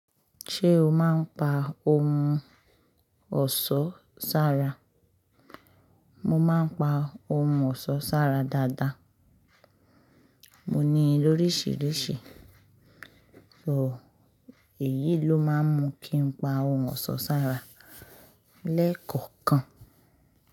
Ṣé o máa ń pa ohun ọ̀ṣọ́ sára? Mo máa ń pa ohun ọ̀ṣọ́ sára dáadáa. Mo níi loríṣiríṣi, ṣùgbọ́n èyí ló máa ń mú kí n pa ohun ọ̀ṣọ́ sára lẹ́kọ̀ọ̀kan.